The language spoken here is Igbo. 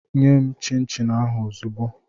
Nye m chịn chịn ahụ ozugbu!